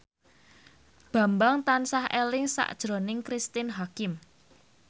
Bambang tansah eling sakjroning Cristine Hakim